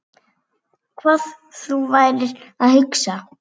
Hvað þú værir að hugsa.